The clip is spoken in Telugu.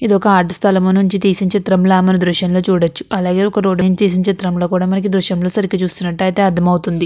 ఇదొక ఆదుకునే స్థలము నుంచి తీసిన చిత్రంల మన దృశంలో చూడొచ్చు అలాగే ఒక రోడ్డు నుంచి తీసిన చిత్రంలో కూడా మనకి దృశ్యంలో సరిగ్గా చుసినట్టుయితే అర్థమవుతుంది.